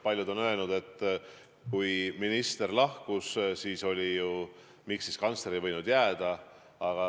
Paljud on küsinud, et kui minister lahkus, siis miks kantsler ei võinud jääda.